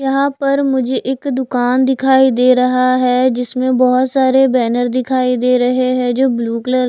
यहां पर मुझे एक दुकान दिखाई दे रहा है जिसमें बोहोत सारे बैनर दिखाई दे रहे हैं जो ब्लू कलर --